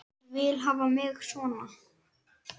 Ég vil hafa þig svona.